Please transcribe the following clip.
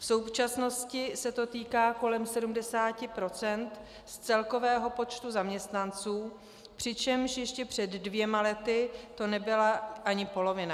V současnosti se to týká kolem 70 % z celkového počtu zaměstnanců, přičemž ještě před dvěma lety to nebyla ani polovina.